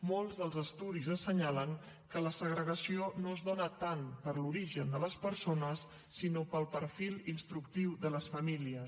molts dels estudis assenyalen que la segregació no es dóna tant per l’origen de les persones sinó pel perfil instructiu de les famílies